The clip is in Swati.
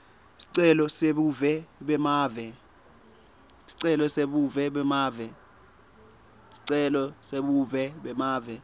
sicelo sebuve bemave